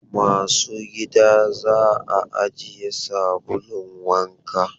Masu gida za a ajiye sabulun wanka.